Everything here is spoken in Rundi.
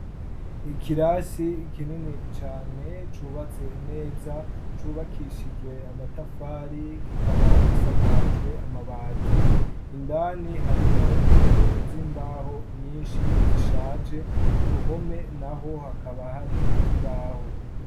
Ikirasi kinini cane cubatse neza, cubakishije amatafari kikaba gisakajwe amabati. Indani harimwo intebe z'imbaho nyinshi zishaje, ku ruhome naho hakaba hari ikibaho.